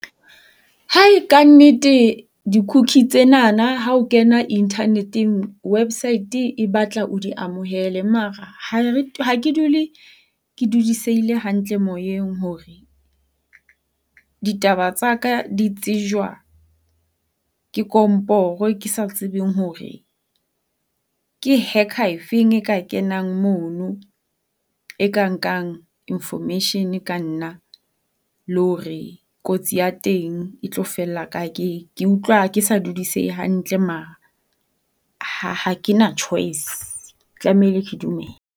Ka nnete di-cookie tsenanana ha o kena internet-eng website e batla o di amohele. Mara ha ke dule ke dudisehile hantle moyeng hore ditaba tsa ka di tsejwa ke komporo, ke sa tsebeng hore ke hacker efeng e ka kenang mono e ka nkang information ka nna. Le hore kotsi ya teng e tlo fella kae. Ke ke utlwa ke sa dudisehe hantle mara ha kena choice, ke tlameile ke dumele.